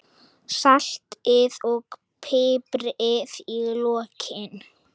Saltið og piprið í lokin.